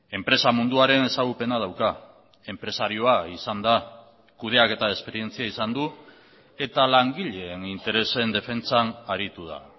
enpresa munduaren ezagupena dauka enpresarioa izan da kudeaketa esperientzia izan du eta langileen interesen defentsan aritu da